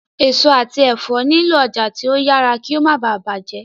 èso àti èfó nilo ọjà tí o yàrá kí o má bá bàjé.